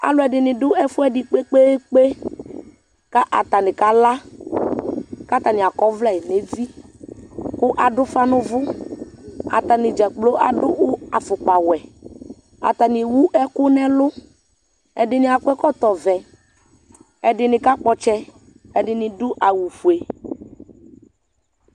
alu ɛdini du ɛfu ɛdi kpekpeekpeku atani kakaku atani akɔ ɔvlɛ nu eviku aɖu ufa nu uvuatani dzakplo aɖu afukpa wɛatani ewu ɛku nu ɛlu ɛdini akɔ ɛkɔtɔ vɛɛdini kakpɔ ɔtsɛ ɛdini adu awu ofue